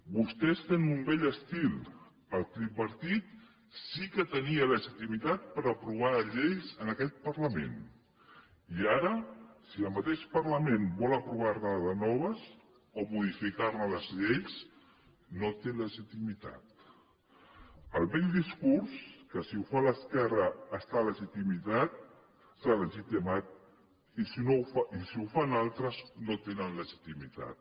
vostès tenen un vell estil el tripartit sí que tenia legitimitat per aprovar les lleis en aquest parlament i ara si el mateix parlament vol aprovar ne de noves o modificar les lleis no té legitimitat el vell discurs que si el fa l’esquerra està legitimitat i si el fan altres no tenen legitimitat